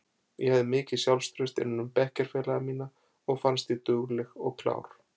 Ég hafði mikið sjálfstraust innan um bekkjarfélaga mína og fannst ég dugleg og klár.